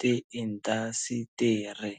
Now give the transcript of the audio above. ti indasitiri.